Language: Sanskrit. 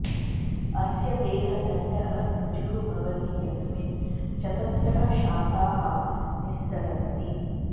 अस्य देहदण्डः ऋजुः भवति यस्मिन् चतस्रः शाखाः निस्सरन्ति